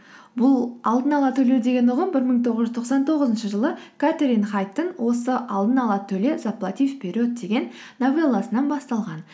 бұл алдын ала төлеу деген ұғым бір мың тоғыз жүз тоқсан тоғызыншы жылы кэтрин хайдтың осы алдын ала төле заплати вперед деген новелласынан басталған